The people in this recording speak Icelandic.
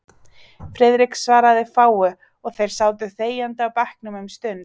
Friðrik svaraði fáu, og þeir sátu þegjandi á bekknum um stund.